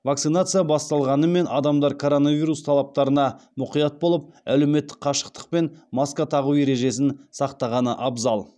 вакцинация басталғанымен адамдар коронавирус талаптарына мұқият болып әлеуметтік қашықтық пен маска тағу ережесін сақтағаны абзал